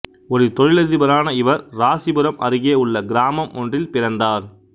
ஒரு தொழிலதிபரான இவர் இராசிபுரம் அருகே உள்ள கிராமம் ஒன்றில் பிறந்தார்